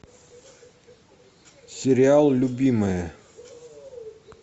сериал любимая